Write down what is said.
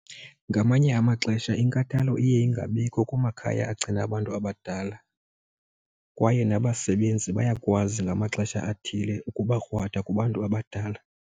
Ngamanye amaxesha inkathalo iye ingabikho kumakhaya agcina abantu abadala kwaye nabasebenzi bayakwazi ngamaxesha athile ukuba krwada kubantu abadala.